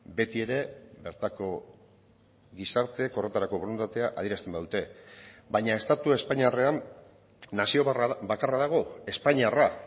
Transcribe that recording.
beti ere bertako gizarteek horretarako borondatea adierazten badute baina estatu espainiarrean nazio bakarra dago espainiarra